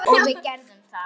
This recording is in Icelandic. Og við gerðum það.